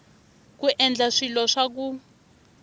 ku endla swilo swa ku